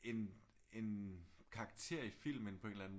En en karakter i filmen på en eller anden